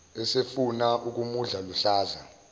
esefuna ukumudla luhlaza